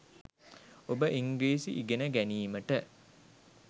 ඔබ ඉංග්‍රීසි ඉගෙන ගැනීමට